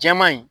Jɛman in